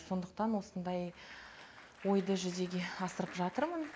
сондықтан осындай ойды жүзеге асырып жатырмын